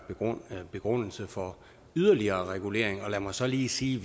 begrundelse for yderligere regulering lad mig så lige sige